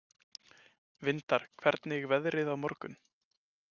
Vindar, hvernig er veðrið á morgun?